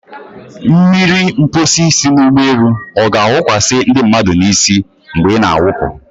Mmiri mposi si n'ụgbọelu ọ ga-awụkwasị ndị mmadụ n'isi mgbe ị na-awụpụ?